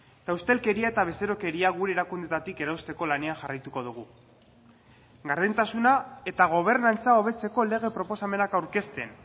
eta ustelkeria eta bezerokeria gure erakundeetatik erausteko lanean jarraituko dugu gardentasuna eta gobernantza hobetzeko lege proposamenak aurkezten